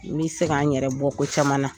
N bɛ se ka n yɛrɛ bɔ ko caman na